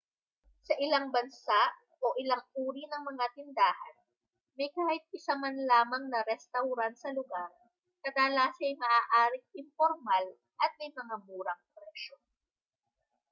sa ilang bansa o ilang uri ng mga tindahan may kahit isa man lamang na restawran sa lugar kadalasa'y maaaring impormal at may mga murang presyo